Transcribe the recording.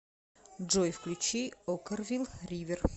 джой включи оккервил ривер